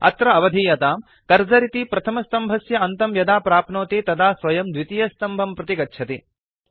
अत्र अवधीयताम् कर्सर इति प्रथमस्तम्भस्य अन्तं यदा प्राप्नोति तदा स्वयं द्वितीयस्तम्भं प्रति गच्छति